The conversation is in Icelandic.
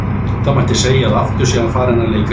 Það mætti segja að aftur sé hann farinn að leika guð.